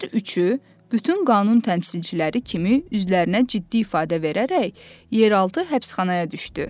Hər üçü bütün qanun təmsilçiləri kimi üzlərinə ciddi ifadə verərək yer altı həbsxanaya düşdü.